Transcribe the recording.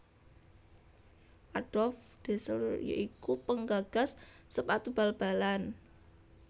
Adolf Dassler ya iku penggagas sepatu bal balalan